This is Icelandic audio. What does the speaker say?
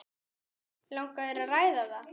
Langar þér að ræða það?